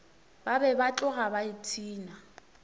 be ba tloga ba ipshina